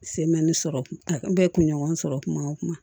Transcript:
sɔrɔ n bɛ kunɲɔgɔn sɔrɔ kuma o kuma